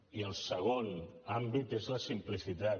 i el segon àmbit és la simplicitat